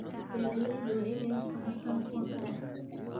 Beeraleydu waa inay wax ka bartaan kuwa kale.